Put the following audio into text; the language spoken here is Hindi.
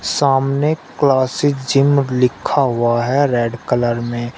सामने क्लासिक जिम लिखा हुआ है रेड कलर में।